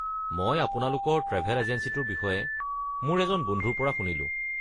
মই আপোনালোকৰ ট্ৰেভেল এজেঞ্চিটোৰ বিষয়ে মোৰ এজন বন্ধুৰ পৰা শুনিলোঁ।